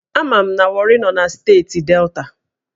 Ama m na Warri nọ na steeti Delta